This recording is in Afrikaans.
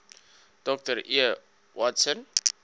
dr e watson